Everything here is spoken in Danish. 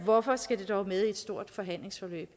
hvorfor skal det dog med i et stort forhandlingsforløb